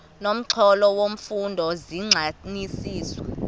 nomxholo wemfundo zigxininiswa